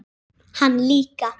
Hann líka.